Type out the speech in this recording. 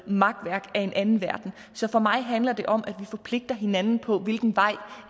makværk af en anden verden så for mig handler det om at vi forpligter hinanden på hvilken vej